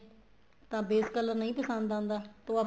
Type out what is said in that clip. ਤਾਂ base color ਨਹੀਂ ਪਸੰਦ ਆਂਦਾ ਤੇ